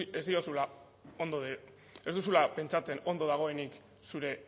ez diozula ondo ez duzula pentsatzen ondo dagoenik zure